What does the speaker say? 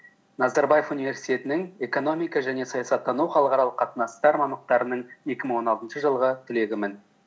назарбаев университетінің экономика және саясаттану халықаралық қатынастар екі мың он алтыншы жылғы түлегімін